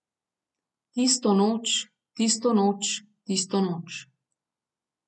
Tisto noč, tisto noč, tisto noč.